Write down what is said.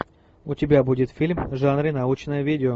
у тебя будет фильм в жанре научное видео